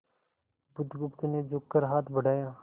बुधगुप्त ने झुककर हाथ बढ़ाया